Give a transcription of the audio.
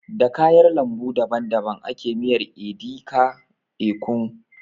Da kayar lambu daban daban ake miyar edi ka, ekong